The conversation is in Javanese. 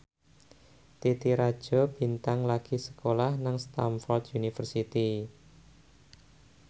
Titi Rajo Bintang lagi sekolah nang Stamford University